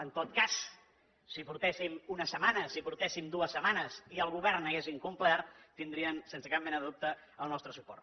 en tot cas si portéssim una setmana si portéssim dues setmanes i el govern hagués incomplert tindrien sense cap mena de dubte el nostre suport